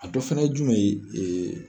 A dɔ fɛnɛ ye jumɛn ye